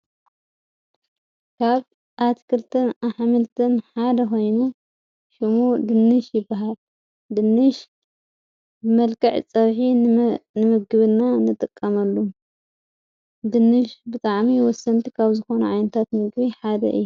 ካብ ኣትክልትን ኣኃምልትን ሓደ ኾይኑ ሹሙ ድንሽ ይበሃ ድንሽ ብመልቅዕ ጸብሒ ንምግብና ንጥቀመሉ ድንሽ ብጥዓሚ ወሰንቲ ኻብ ዝኾኑ ዓይንታት ምግቢ ሓደ እዩ ::